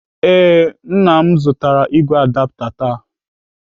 Ee, Nna m zụtara igwe adapta taa.